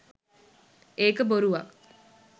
ඒක බොරුවක්.